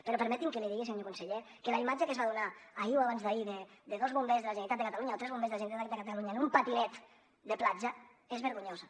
però permeti’m que li digui que senyor conseller que la imatge que es va donar ahir o abans d’ahir de dos bombers de la generalitat de catalunya o tres bombers de la generalitat de catalunya amb un patinet de platja és vergonyosa